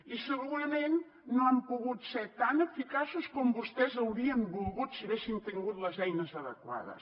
i segurament no han pogut ser tan eficaços com vostès haurien volgut si haguessin tingut les eines adequades